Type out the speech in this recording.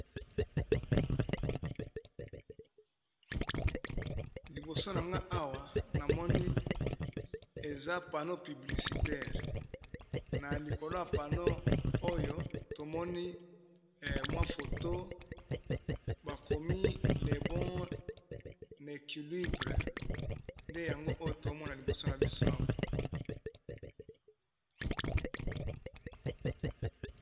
Liboso na nga , awa namoni eza paneau piblicitaire na likolo ya paneau oyo tomoni photo, bakomi le bon équilibre nde yango oyo tomona liboso na biso awa.